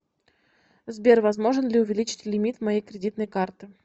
сбер возможен ли увеличить лимит моей кредитной карты